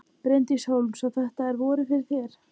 Bryndís Hólm: Svo þetta er vorið fyrir þér?